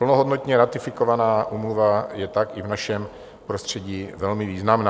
Plnohodnotně ratifikovaná úmluva je tak i v našem prostředí velmi významná.